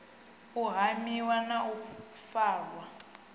u hamiwa na u farwa